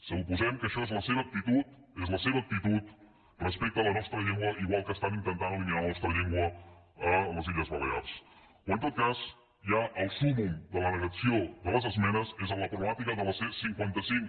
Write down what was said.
suposem que això és la seva actitud és la seva actitud respecte a la nostra llengua igual que estan intentant eliminar la nostra llengua a les illes balears o en tot cas ja el súmmum de la negació de les esmenes és a la problemàtica de la c cinquanta cinc